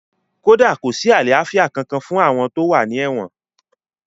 Kódà kò sí àlàáfíà kankan fún àwọn tó wà ní èwọ̀n